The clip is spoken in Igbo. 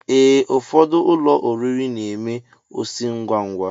Ee, ụfọdụ ụlọ oriri n'eme osi ngwa ngwa